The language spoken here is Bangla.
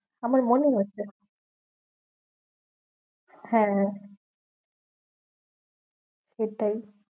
আমার মনে হয়েছে হ্যাঁ সেটাই